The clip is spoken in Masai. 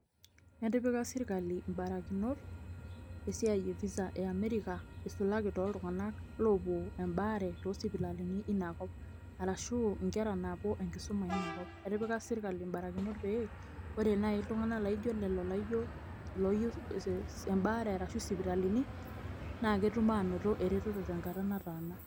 Etipika sirkali ibarakinot, esiai e visa e America, isulaki toltung'anak lopuo ebaare tosipitalini inakop. Arashu inkera naapuo enkisuma inakop. Etipika sirkali ibarakinot pee, ore nai iltung'anak laijo lelo loyieu ebaare ashu isipitalini, na ketum anoto ereteto tenkata nataana.